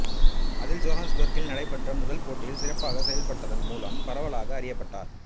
அதில் ஜோகன்ஸ்பர்க்கில் நடைபெற்ற முதல் போட்டியில் சிறப்பாகச் செயல்பட்டதன் மூலம் பரவலாக அறியப்பட்டார்